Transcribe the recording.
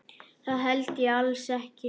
Það held ég alls ekki.